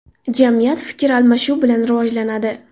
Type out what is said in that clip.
Jamiyat fikr almashuv bilan rivojlanadi.